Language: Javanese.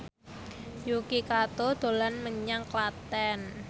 Yuki Kato dolan menyang Klaten